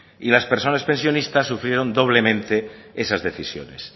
y las personas pensionistas sufrieron doblemente esas decisiones